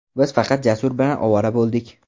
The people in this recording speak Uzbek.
Biz faqat Jasur bilan ovora bo‘ldik.